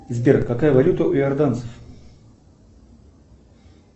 сбер какая валюта у иорданцев